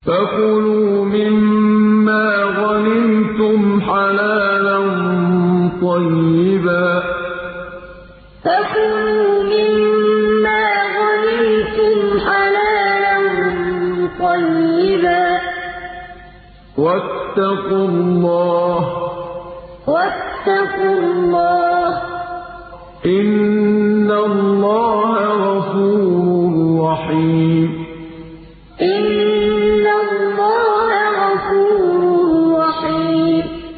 فَكُلُوا مِمَّا غَنِمْتُمْ حَلَالًا طَيِّبًا ۚ وَاتَّقُوا اللَّهَ ۚ إِنَّ اللَّهَ غَفُورٌ رَّحِيمٌ فَكُلُوا مِمَّا غَنِمْتُمْ حَلَالًا طَيِّبًا ۚ وَاتَّقُوا اللَّهَ ۚ إِنَّ اللَّهَ غَفُورٌ رَّحِيمٌ